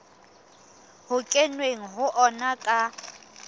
ho kenweng ho ona ka